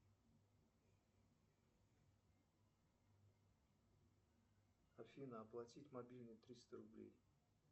афина оплатить мобильный триста рублей